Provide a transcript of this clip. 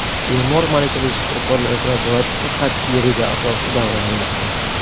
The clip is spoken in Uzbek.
Bemor malakali shifokorlar nazoratida qat’iy reja asosida davolanmoqda.